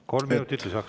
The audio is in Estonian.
Kolm minutit lisaks.